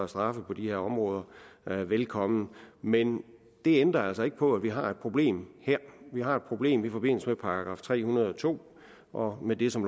straffe på de her områder velkommen men det ændrer altså ikke på at vi har et problem her vi har et problem i forbindelse med § tre hundrede og to og med det som